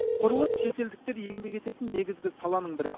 құрылыс шетелдіктер еңбек ететін негізгі саланың бірі